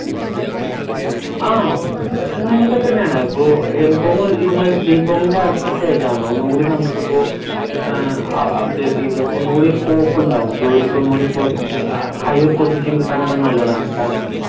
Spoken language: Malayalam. ആഹ് പറ്റുന്നതയൊക്കെ തന്നെയാ M.Com ഇതുമായി bcom ന്റെ അടുത്ത stage ആണല്ലോ ഒന്നൂടി നമുക്കിപ്പൊ അഹ് update എയ്ത് ഒന്ന് കൂടി ഉണ്ടാവുഅല്ലോ ജോലിക്ക് ഒന്നുകൂടി അവസരം higher position കിട്ടാൻ ഒക്കെ നല്ലതാണ് കാരണം